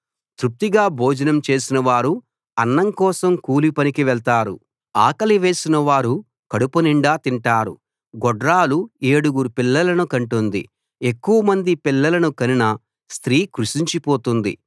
తృప్తిగా భోజనం చేసినవారు అన్నం కోసం కూలి పనికి వెళ్తారు ఆకలి వేసినవారు కడుపునిండా తింటారు గొడ్రాలు ఏడుగురు పిల్లలను కంటుంది ఎక్కువమంది పిల్లలను కనిన స్త్రీ కృశించిపోతుంది